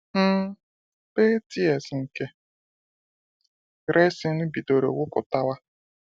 um Pale "tears" nke resin bidoro wụpụtawa.